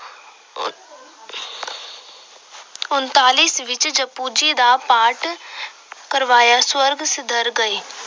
ਉਨਤਾਲੀ ਈਸਵੀ ਵਿੱਚ ਜਪੁ ਜੀ ਦਾ ਪਾਠ ਕਰਵਾਇਆ, ਸਵਰਗ ਸਿਧਾਰ ਗਏ।